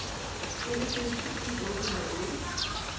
enogfirs tusind otte hundrede og otte